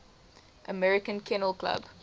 american kennel club